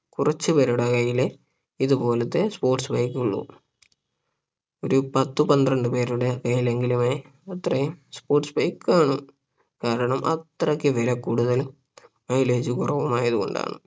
കുറച്ചു പേരുടെ കയ്യിലെ ഇതുപോലത്തെ sports bike ഉളളൂ ഒരു പത്തു പന്ത്രണ്ട് പേരുടെ കയ്യിലെങ്കിലുമേ അത്രയും sports bike കാണു കാരണം അത്രയ്ക്ക് വിലകൂടുതലും mileage കുറവുമായതു കൊണ്ടാണ്